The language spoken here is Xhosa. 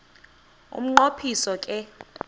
umnqo phiso ke